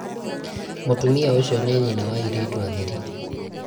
mũtumia ũcio nĩ nyĩna wa airĩtu atheri